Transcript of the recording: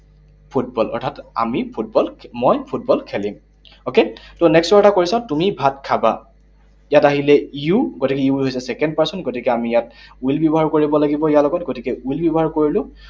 Football, অৰ্থাৎ আমি football, মই ফুটবল খেলিম। Okay? So, next ৰ এটা question, তুমি ভাত খাবা। ইয়াত আহিলে you, গতিকে you হৈছে এটা second person, গতিকে আমি ইয়াত will ব্যৱহাৰ কৰিব লাগিব ইয়াৰ লগত। গতিকে will ব্যৱহাৰ কৰিলো।